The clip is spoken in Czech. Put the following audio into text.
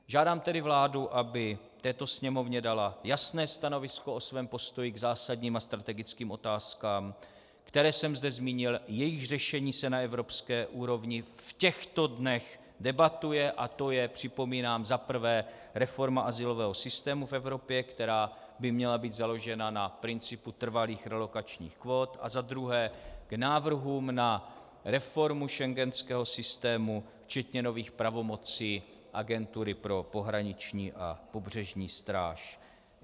Žádám tedy vládu, aby této Sněmovně dala jasné stanovisko o svém postoji k zásadním a strategickým otázkám, které jsem zde zmínil, jejichž řešení se na evropské úrovni v těchto dnech debatuje, a to je, připomínám, za prvé reforma azylového systému v Evropě, která by měla být založena na principu trvalých relokačních kvót, a za druhé, k návrhům na reformu schengenského systému včetně nových pravomocí Agentury pro pohraniční a pobřežní stráž.